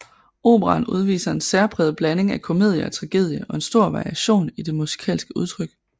Operaen udviser en særpræget blanding af komedie og tragedie og en stor variation i det musikalske udtryk